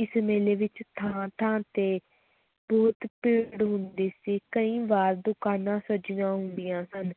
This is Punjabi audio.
ਇਸ ਮੇਲੇ ਵਿੱਚ ਥਾਂ-ਥਾਂ ਤੇ ਬਹੁਤ ਭੀੜ ਹੁੰਦੀ ਸੀ, ਕਈ ਵਾਰ ਦੁਕਾਨਾਂ ਸਜੀਆਂ ਹੁੰਦੀਆਂ ਹਨ,